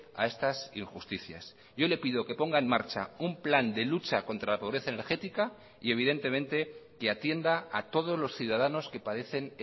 a estas injusticias yo le pido que ponga en marcha un plan de lucha contra la pobreza energética y evidentemente que atienda a todos los ciudadanos que padecen